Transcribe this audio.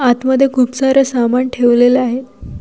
आतमध्ये खूप सारे सामान ठेवलेल आहे.